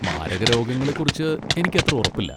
മാരക രോഗങ്ങളെക്കുറിച്ച് എനിക്കത്ര ഉറപ്പില്ല.